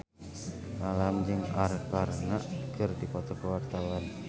Alam jeung Arkarna keur dipoto ku wartawan